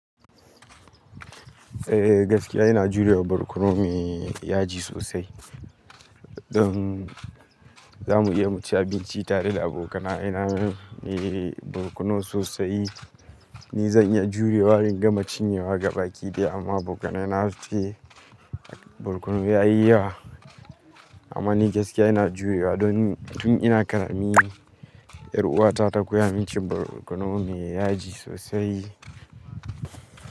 Eh gaskiya ina jurewa barkono me yaji sosai. Don zamu iya mu ci abinci tare da abokana. Idan me barkono sosai. Ni zan iya jurewa in gama cinyewa gabaki ɗaya amma abokanai na zasuce barkono ya yi yawa. Amma ni gaskiya ina jurewa don tun ina karami 'yar uwata ta koya min cin barkono me yaji sosai.